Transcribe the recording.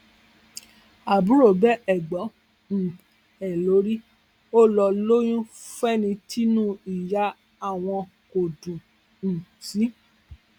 àbúrò bẹ ẹgbọn um ẹ lórí ó lọ lóyún fẹni tínú ìyá àwọn kò dùn um sí